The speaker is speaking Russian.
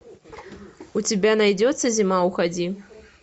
у тебя найдется зима уходи